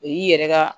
O y'i yɛrɛ ka